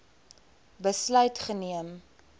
besluit geneem